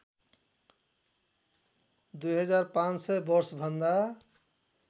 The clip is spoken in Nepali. २५०० वर्षभन्दा